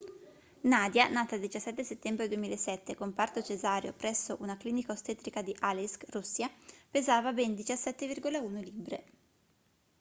nadia nata il 17 settembre 2007 con parto cesareo presso una clinica ostetrica di aleisk russia pesava ben 17,1 libbre